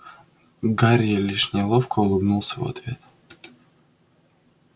гарри лишь неловко улыбнулся в ответ